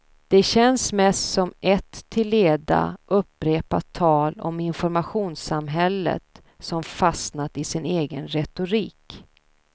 Det känns mest som ett till leda upprepat tal om informationssamhället som fastnat i sin egen retorik.